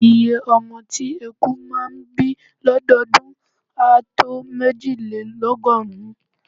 Iye ọmọ tí eku máà ń bí lọ́dọọdún á tó méjìlélọ́gọ́rùn-ún.